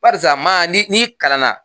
Barisa maa ni kalanna